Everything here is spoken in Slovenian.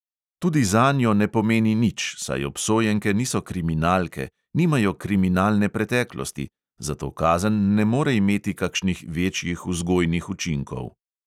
Tudi zanjo ne pomeni nič, saj obsojenke niso kriminalke, nimajo kriminalne preteklosti, zato kazen ne more imeti kakšnih večjih vzgojnih učinkov.